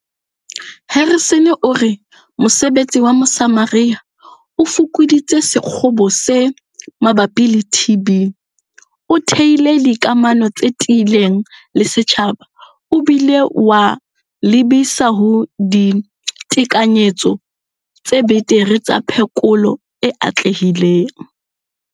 Harrison o re mosebetsi wa Mosamaria o fokoditse sekgobo se mabapi le TB, o theile dikamano tse tiileng le setjhaba o bile wa lebisa ho ditekanyetso tse betere tsa phekolo e atlehileng.